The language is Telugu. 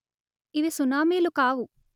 ఇవి సునామీలు కావు